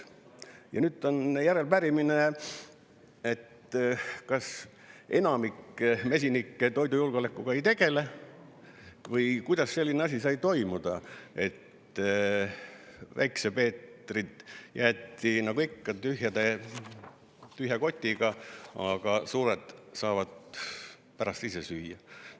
Ja nüüd on järelepärimine: kas enamik mesinikke toidujulgeolekuga ei tegele või kuidas selline asi sai toimuda, et Väike Peeter jäeti nagu ikka tühja kotiga, aga suured saavad pärast ise süüa.